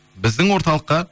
біздің орталыққа